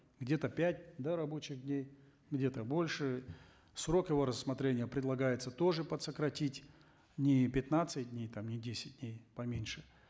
где то пять да рабочих дней где то больше срок его рассмотрения предлагается тоже подсократить не пятнадцать дней там не десять дней поменьше